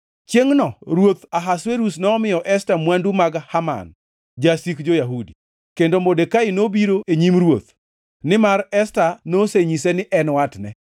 Chiengʼno ruoth Ahasuerus nomiyo Esta mwandu mag Haman, jasik jo-Yahudi. Kendo Modekai nobiro e nyim ruoth, nimar Esta nosenyise ni en watne.